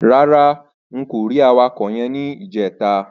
Rárá n kò rí awakọ̀ yẹn ní ìjẹta.